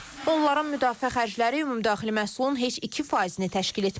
Onların müdafiə xərcləri ümumdaxili məhsulun heç 2%-ni təşkil etməyib.